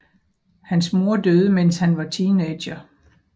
Hans mor døde mens han var teenager